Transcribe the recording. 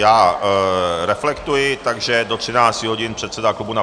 Já reflektuji, takže do 13 hodin předseda klubu...